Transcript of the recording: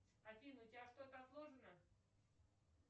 афина у тебя что то отложено